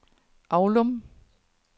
Avlum